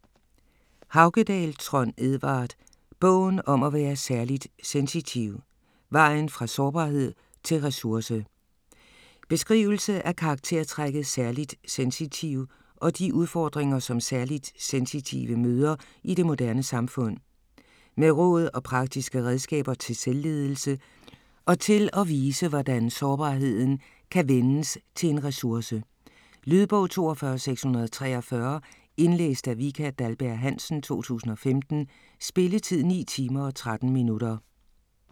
Haukedal, Trond Edvard: Bogen om at være særligt sensitiv: vejen fra sårbarhed til ressource Beskrivelse af karaktertrækket særligt sensitiv og de udfordringer som særligt sensitive møder i det moderne samfund. Med råd og praktiske redskaber til selvledelse og til at vise hvordan sårbarheden kan vendes til en ressource. Lydbog 42643 Indlæst af Vika Dahlberg-Hansen, 2015. Spilletid: 9 timer, 13 minutter.